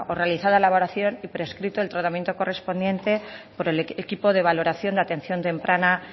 realizada la valoración y prescrito el tratamiento correspondiente por el equipo de valoración de atención temprana